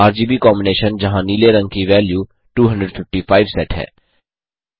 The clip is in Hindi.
आरजीबी कॉम्बिनेशन जहाँ नीले रंग की वैल्यू255 सेट है